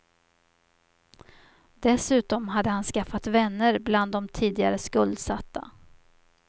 Dessutom hade han skaffat vänner bland de tidigare skuldsatta.